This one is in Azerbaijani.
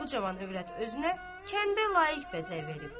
bu cavan övrət özünə kəndə layiq bəzək veribdir.